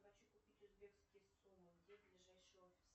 хочу купить узбекские сумы где ближайший офис